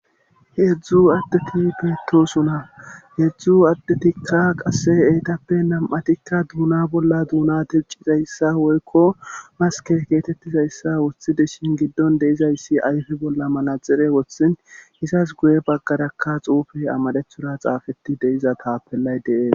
heedzdzu addeti beetosona heedzdzu addetikka qasse eytappe nam7atikka duuna bolla duuna tewcizayssa woykko maske geetettizayssa woththide shin giddon deizayssi ayfe bolla manaxire wothin izas guye baggarakka xuufey amarethora xaafeti deiza taapellay de'ees